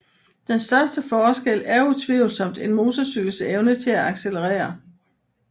Den største forskel er utvivlsomt en motorcykels evne til at accelerere